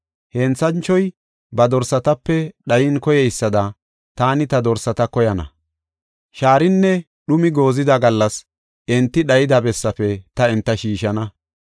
Henthanchoy ba dorsatape dhayin koyeysada, taani ta dorsata koyana; shaarinne dhumi goozida gallas enti dhayida bessaafe ta enta shiishana.